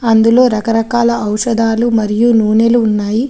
అందులో రకరకాల ఔషధాలు మరియు నూనెలు ఉన్నాయి.